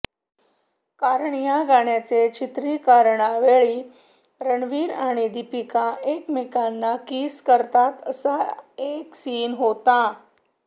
कारण या गाण्याचे चित्रीकरणावेळी रणवीर आणि दीपिका एकमेकांना किस करतात असा एक सीन होता